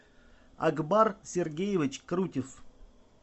акбар сергеевич крутев